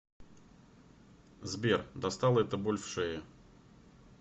сбер достала эта боль в шее